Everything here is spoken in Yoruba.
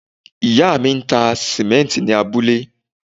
Ìyá mi ń ta sìmẹ́ǹtì ní abúlé.